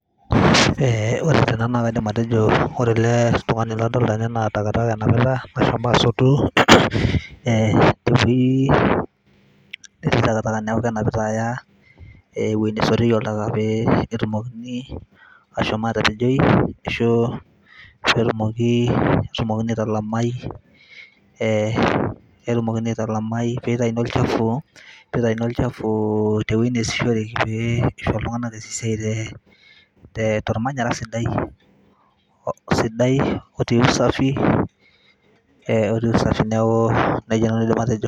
ee ore ena naa kaidim atejo ore ele tungani nadolita tene naa takataka enapita amu eshomo asotu takataka niaku kenapita aya ewuei nesotieki oltaka pee etumokini ashom atapejoi ashu etumokini aitalamai peitayuni olchafu tewuei neasishoreki pee eisho iltunganak eas esiai tormanyara sidai otii usafi neaku nejia aidim atejo